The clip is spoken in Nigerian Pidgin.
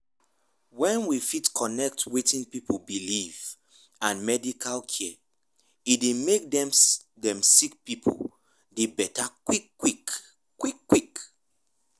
wen we fit connect wetin pipu believe and medical care e dey make dem sick pipu dey beta quick quick. quick quick.